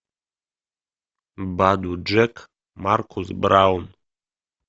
баду джек маркус браун